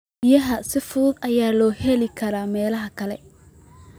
Biyaha si fudud ayaa looga heli karaa meelaha kale.